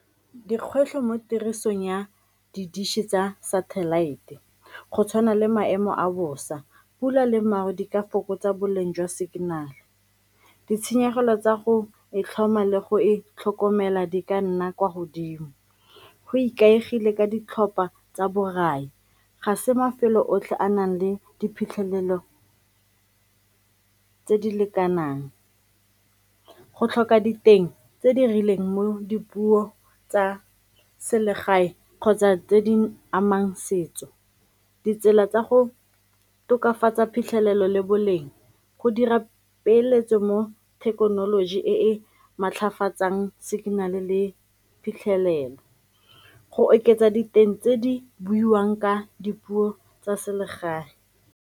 Dikgwetlho mo tirisong ya di-dish-e tsa satellite go tshwana le maemo a bosa, pula le maru di ka fokotsa boleng jwa signal-e, ditshenyegelo tsa go e tlhoma le go e tlhokomela di ka nna kwa godimo, go ikaegile ka ditlhopha tsa borai ga se mafelo otlhe a a nang le diphitlhelelo tse di lekanang. Go tlhoka diteng tse di rileng mo dipuo tsa selegae kgotsa tse di amang setso, ditsela tsa go tokafatsa phitlhelelo le boleng, go dira peeletso mo thekenoloji e e maatlafatsang signal-e le phitlhelelo, go oketsa diteng tse di buiwang ka dipuo tsa selegae.